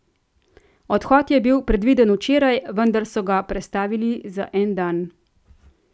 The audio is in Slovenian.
Odhod je bil predviden včeraj, vendar so ga prestavili za en dan.